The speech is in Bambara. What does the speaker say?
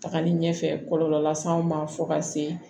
Tagali ɲɛfɛ kɔlɔlɔ las'anw ma fo ka se